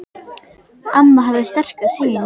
Amma hafði sterka sýn.